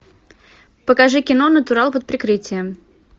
покажи кино натурал под прикрытием